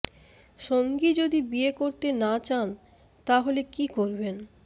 সঙ্গী যদি বিয়ে করতে না চান তা হলে কী করবেন